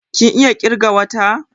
Kin iya ƙirgan wata?